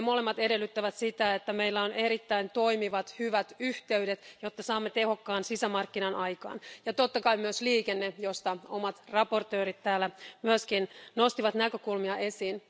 Ne molemmat edellyttävät, että meillä on erittäin toimivat ja hyvät yhteydet, jotta saamme tehokkaan sisämarkkinan aikaan. Totta kai myös liikenne, josta omat esittelijät täällä myöskin nostivat näkökulmia esiin.